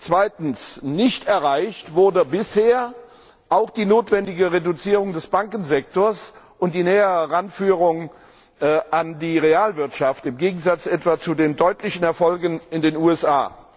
Zweitens Nicht erreicht wurde bisher auch die notwendige Reduzierung des Bankensektors und die nähere Heranführung an die Realwirtschaft im Gegensatz etwa zu den deutlichen Erfolgen in den USA.